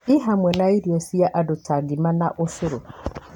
i hamwe na irio cia andũ ta ngima, na ũcũru